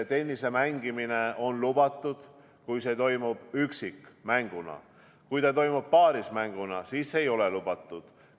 Tennise mängimine on lubatud, kui see toimub üksikmänguna, kui see toimub paarismänguna, siis ei ole lubatud.